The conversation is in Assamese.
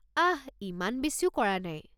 আহ, ইমান বেছিও কৰা নাই।